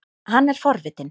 Hann er forvitinn.